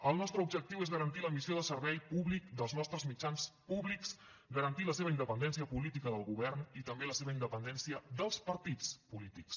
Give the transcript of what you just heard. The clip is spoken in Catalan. el nostre objectiu és garantir la missió de servei públic dels nostres mitjans públics garantir la seva independència política del govern i també la seva independència dels partits polítics